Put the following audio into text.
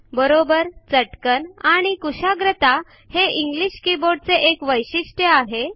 बरोबर चटकन आणि कुशाग्रता हे इंग्लिश कीबोर्डचे एक वैशिष्ट्य आहे